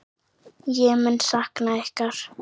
Ég mun sakna ykkar.